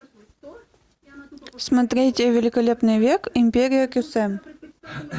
смотреть великолепный век империя кесем